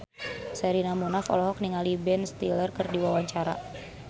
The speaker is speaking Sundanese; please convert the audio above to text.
Sherina Munaf olohok ningali Ben Stiller keur diwawancara